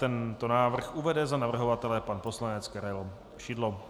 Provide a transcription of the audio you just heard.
Tento návrh uvede za navrhovatele pan poslanec Karel Šidlo.